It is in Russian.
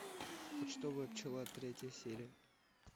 почтовая пчела третья серия